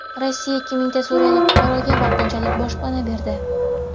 Rossiya ikki mingta suriyalik fuqaroga vaqtinchalik boshpana berdi.